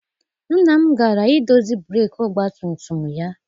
Nna m gara I dozi breeki ọgbatumtum ya.